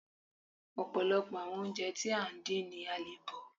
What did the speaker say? Ọ̀pọ̀lọpọ̀ àwọn oúnjẹ tí à ń dín ni a le bọ̀